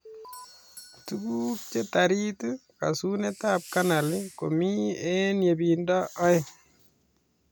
Tuguk che tarit kasunet ab canal komii eny yebindoo aeng